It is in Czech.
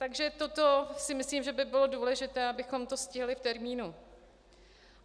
Takže toto si myslím, že by bylo důležité, abychom to stihli v termínu.